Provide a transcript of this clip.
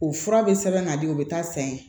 O fura bɛ sɛbɛn ka di u bɛ taa sɛgɛn